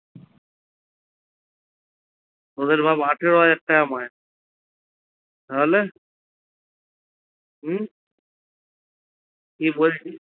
ওদের ভাব আঠারো হাজার টাকা মাইনে তাহলে হম কি বলছিস